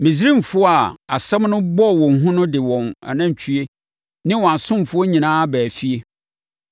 Misraimfoɔ a asɛm no bɔɔ wɔn hu no de wɔn anantwie ne wɔn asomfoɔ nyinaa baa efie.